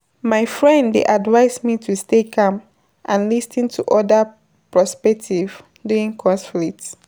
My friend dey advise me to stay calm and lis ten to other perspectives during conflicts.